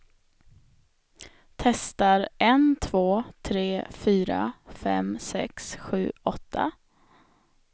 Testar en två tre fyra fem sex sju åtta.